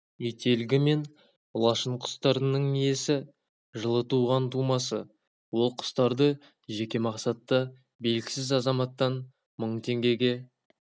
ителгі мен лашын құстарының иесі жылы туған тумасы ол құстарды жеке мақсатта белгісіз азаматтан мың теңгеге